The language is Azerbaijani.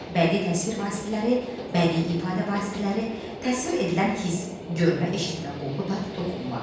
Bədii təsvir vasitələri, bədii ifadə vasitələri, təsvir edilən hiss, görmə, eşitmə, qoxu, dad, toxunma.